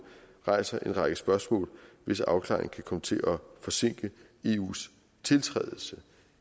rejser en række spørgsmål hvis afklaring kan komme til at forsinke eus tiltrædelse